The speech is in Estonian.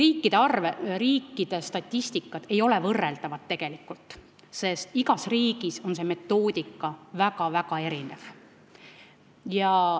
Kuid riikide statistikad ei ole võrreldavad, sest metoodika on riikides väga erinev.